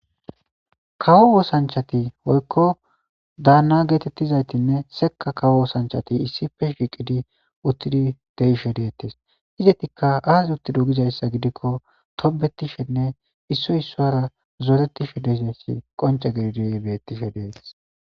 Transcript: kawo wosanchati woykko daanna geetettizaytinne seka kawo wosanchati issife shiiqidi uttidi deishe deettes izetikka aazi uttido gizayssa gidikko tobetishenne isso issoara zooretishe deizaysi qonce gedidiy beettishe dees